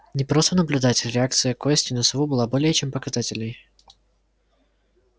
не просто наблюдатель реакция кости на сову была более чем показательной